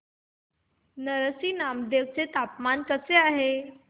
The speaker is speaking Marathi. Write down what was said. नरसी नामदेव चे तापमान कसे आहे